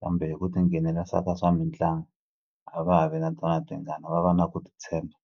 kambe hi ku tinghenela ka swa swa swa mitlangu a va ha vi na tona tingana va va na ku titshemba.